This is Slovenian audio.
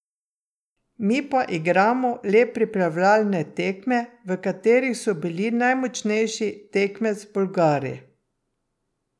Mi pa igramo le pripravljalne tekme, v katerih so bili najmočnejši tekmec Bolgari.